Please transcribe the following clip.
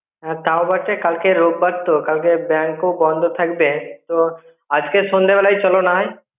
হ্যাঁ তাও বা ঠিক কাল কে রোববার তো. তো কাল কে bank ও বন্ধ থাকবে তো আজকে সন্ধ্যে বেলায় চলো নাহয়.